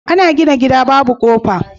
Ana gina gida Babu kofa